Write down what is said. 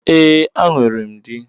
E, a nwèrém dí.